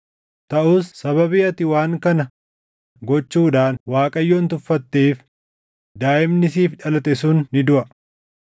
Taʼus sababii ati waan kana gochuudhaan Waaqayyoon tuffatteef daaʼimni siif dhalate sun ni duʼa.”